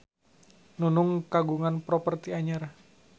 Nunung kagungan properti anyar